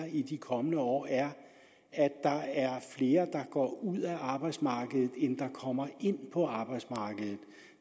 i de kommende år er at der er flere der går ud af arbejdsmarkedet end der kommer ind på arbejdsmarkedet